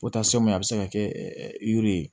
a bɛ se ka kɛ yiri ye